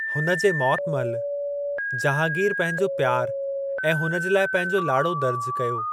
हुन जे मौतु महिल, जहांगीर पंहिंजो प्यार ऐं हुन जे लाइ पंहिंजो लाड़ो दर्ज कयो।